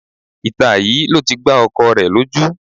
Ìta yìí ló ti gbá ọkọ rẹ lójú